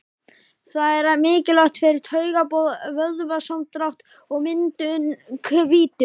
Það er mikilvægt fyrir taugaboð, vöðvasamdrátt og myndun hvítu.